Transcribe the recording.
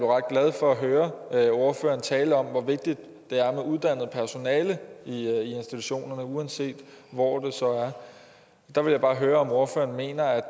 glad for at høre ordføreren tale om hvor vigtigt det er med uddannet personale i institutionerne uanset hvor det så er der vil jeg bare høre om ordføreren mener